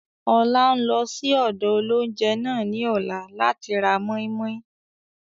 Ọlá ń lọ síí ọ̀dọ̀ óloúnjẹ náà ni ọ̀la láti ra mọ́i-mọ́i